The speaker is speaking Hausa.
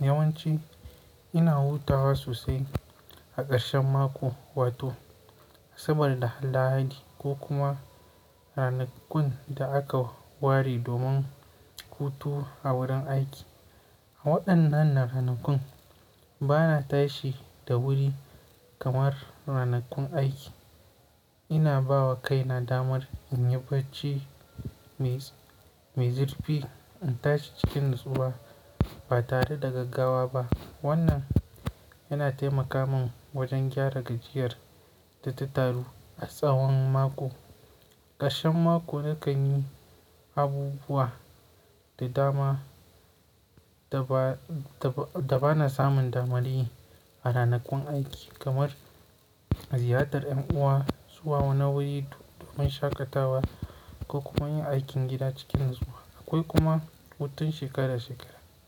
Yawanci ina hutawa sosai a ƙarshen mako. Wato saboda Halla'adi ko kuma ranakun da aka ware domin hutu a wurin aiki. A waɗannan ranakun bana tashi da wuri kamar ranakun aiki. Ina ba wa kaina damar in yi barci mai-mai zurfi, in tashi cikin natsuwa ba tare da gaggawa ba. Wannan yana taimaka min wajen gyara gajiyar da ta taru a tsawon mako. Ƙarshen mako nakan yi abubuwa da dama da ba, da ba na samun damar yi a ranakun aiki kamar ziyartar ƴan uwa, zuwa wani wuri domin shakatawa ko kuma yin aikin gida cikin natsuwa. Akwai kuma hutun shekara shekara.